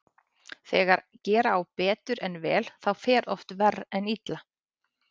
Þegar gera á betur en vel þá fer oft verr en illa.